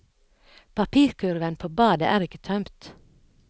Papirkurven på badet er ikke tømt.